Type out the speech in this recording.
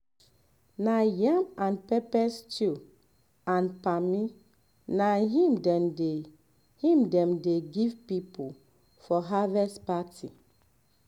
na yam and um pepper stew and palmi na im dem dey im dem dey give people for harvest um party